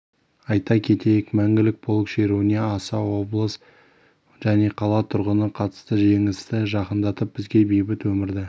айта кетейік мәңгілік полк шеруіне аса облыс және қала тұрғыны қатысты жеңісті жақындатып бізге бейбіт өмірді